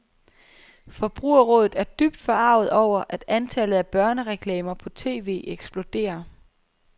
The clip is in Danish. Forbrugerrådet er dybt forarget over, at antallet af børnereklamer på tv eksploderer.